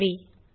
நன்றி